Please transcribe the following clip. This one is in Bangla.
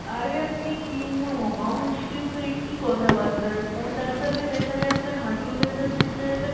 আরে আপনি কি মহা মুশকিল তো একই কথা বাত্রা কোন ডাক্তার কে দেখলে আপনার হাঁটুর ব্যাথা সে সেরে যাবে